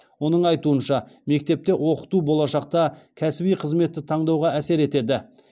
оның айтуынша мектепте оқыту болашақта кәсіби қызметті таңдауға әсер етеді